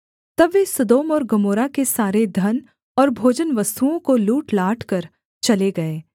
तब वे सदोम और गमोरा के सारे धन और भोजनवस्तुओं को लूटलाट कर चले गए